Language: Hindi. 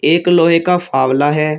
एक लोहे का फावला है।